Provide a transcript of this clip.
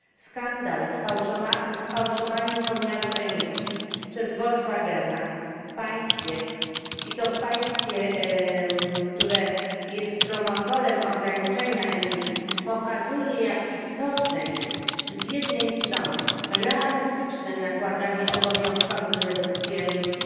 Skandal z fałszowaniem pomiarów emisji przez Volkswagena i to w państwie, które jest promotorem ograniczenia emisji, pokazuje jak istotne jest z jednej strony realistyczne nakładanie obowiązkowych redukcji emisji,